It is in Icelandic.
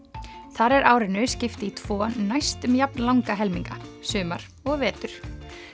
þar er árinu skipt í tvo næstum jafn langa helminga sumar og vetur